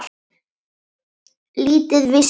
Lítið vissi ég.